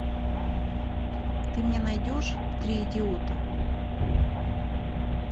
ты мне найдешь три идиота